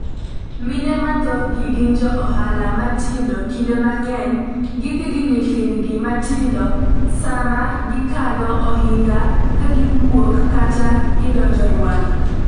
Mine ma thothgi gin johala matindo kinde mang'eny gidhi gi nyithindgi matindo sama gikalo ohinga ka giwuok kata gidonjo Rwanda